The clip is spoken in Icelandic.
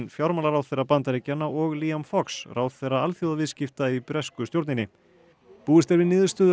fjármálaráðherra Bandaríkjanna og Fox ráðherra alþjóðaviðskipta í bresku stjórninni búist er við niðurstöðu